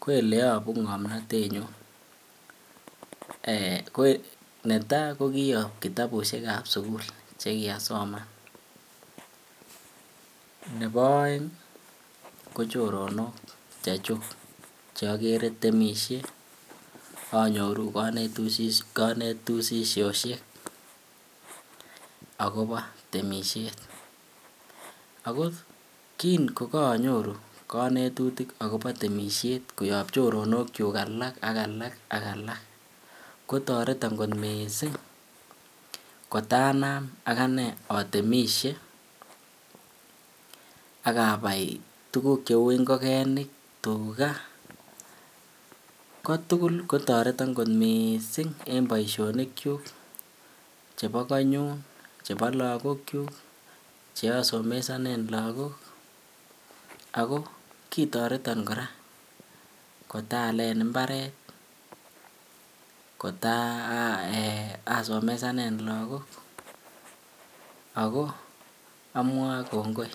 ko ele yobuu ngomnotenyun ko netaa ko kiyob kitabushekab sukul che kyasoman nebo oeng ko choronok chechug che igere temishe onyoru konetushishoshek akobo temishet. Ako kin ko onyoru konetushishoshek kobun choronokyuk alak ak alak ko toreton missing kot anam aganee otemishe ak abai tuguk che uu ngogenik, tuga. Ko tugul ko toreton kot missing en boisionik chebo konyun chebo logokyuk che asomesonen lagok ako kitoreton koraa kotaalen mbaret eee kotan somesanen lagok ako omwoe kongoi